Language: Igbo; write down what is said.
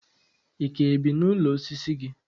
Ị ka bi n'ụlọ osisi gị?